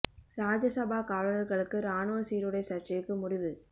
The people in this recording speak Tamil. ராஜ்ய சபா காவலர்களுக்கு ராணுவ சீருடை சர்ச்சைக்கு முடிவு